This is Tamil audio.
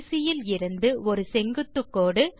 நாண்BC இலிருந்து ஒரு செங்குத்துக் கோடு